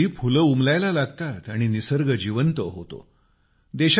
याच वेळी फुले उमलायला लागतात आणि निसर्ग जिवंत होतो